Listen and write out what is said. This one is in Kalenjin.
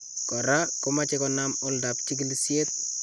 Koraa komache konaam oldap chikilisyeet